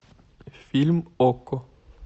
фильм окко